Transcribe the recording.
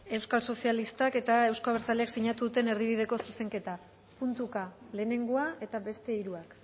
euskal sozialistak eta euzko abertzaleak sinatu duten erdibideko zuzenketa puntuka lehenengoa eta beste hiruak